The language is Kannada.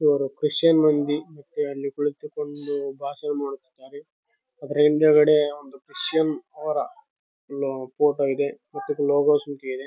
ಇವ್ರು ಕ್ರಿಶ್ಚಿಯನ್‌ ಮಂದಿ ಮತ್ತೆ ಅಲ್ಲಿ ಕುಳಿತುಕೊಂಡು ಭಾಷಣ ಮಾಡುತ್ತಿದ್ದಾರೆ ಅದರ ಹಿಂದುಗಡೆ ಒಂದು ಕ್ರಿಶ್ಚಿಯನ್‌ ಅವರ ಒಂದು ಫೋಟೋ ಇದೆ .]